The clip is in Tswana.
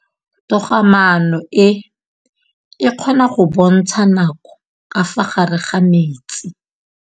Toga-maanô e, e kgona go bontsha nakô ka fa gare ga metsi.